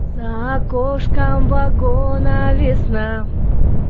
за окошком вагона весна